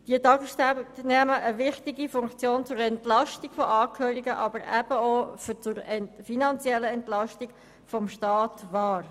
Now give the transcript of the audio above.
Diese Tagesstrukturen haben eine wichtige Funktion, so die Entlastung der Angehörigen, aber eben auch in Bezug auf die Finanzen des Staates.